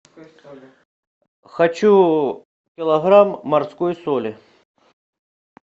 хочу килограмм морской соли